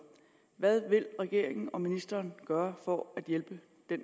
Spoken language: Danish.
hvad vil regeringen og ministeren gøre for at afhjælpe den